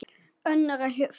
Önnur er á flótta.